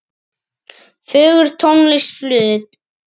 Fögur tónlist flutt.